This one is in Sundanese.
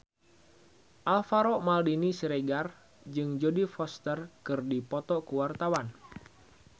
Alvaro Maldini Siregar jeung Jodie Foster keur dipoto ku wartawan